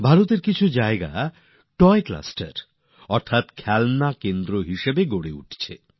ভারতের কিছু জায়গা টয় ক্লাস্টার মানে খেলনার কেন্দ্রস্থল হিসেবেও গড়ে উঠছে